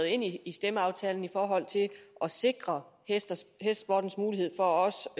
ind i stemmeaftalen i forhold til at sikre hestesportens mulighed for også